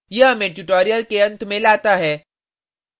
यह हमें tutorial के अंत में लाता है